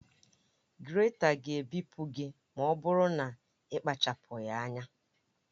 Grèta ga-ebipụ gị ma ọ bụrụ na ị kpachapụghị anya